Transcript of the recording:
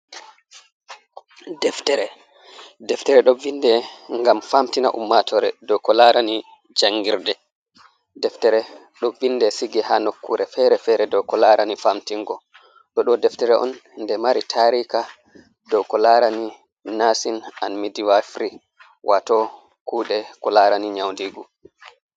"Deftere ɗo vinde ngam famtina ummatore dou ko larani jangirde deftere ɗo vinde sige ha nokkure fere fere dou ko larani famtingo ɗo do deftere on nde mari tarika dou ko larani nasin an mitwafiri wato kuɗe ko larani nyaudigo.